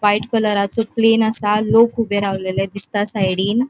व्हाइट कलरा चो प्लेन आसा लोक ऊबे रावलेले दिसता साइडिन .